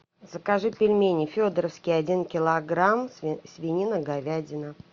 закажи пельмени федоровские один килограмм свинина говядина